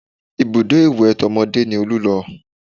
Ibùdó ìwẹ̀ tọmọdé ni Olú lọ